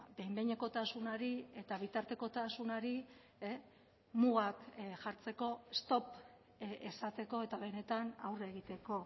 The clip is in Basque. behin behinekotasunari eta bitartekotasunari mugak jartzeko stop esateko eta benetan aurre egiteko